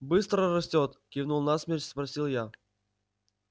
быстро растёт кивнув на смерч спросил я